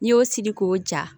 N'i y'o siri k'o ja